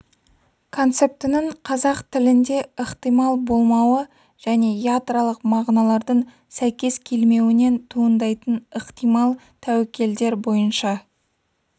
концептінің қазақ тілінде ықтимал болмауы және ядролық мағыналардың сәйкес келмеуінен туындайтын ықтимал тәуекелдер бойынша